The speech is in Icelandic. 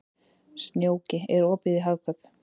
Snjóki, er opið í Hagkaup?